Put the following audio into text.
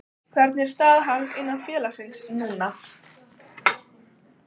Hvernig er staða hans innan félagsins núna?